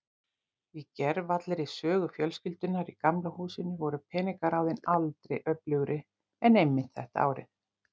Í gervallri sögu fjölskyldunnar í Gamla húsinu voru peningaráðin aldrei öflugri en einmitt þetta árið.